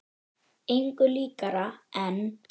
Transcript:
Engu líkara en